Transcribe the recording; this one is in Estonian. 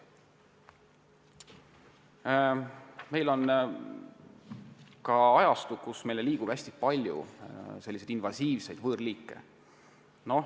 Meil on käes ajastu, kus meieni liigub palju invasiivseid võõrliike.